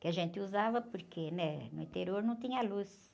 que a gente usava porque né? No interior não tinha luz.